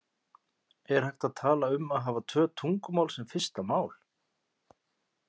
Er hægt að tala um að hafa tvö tungumál sem fyrsta mál?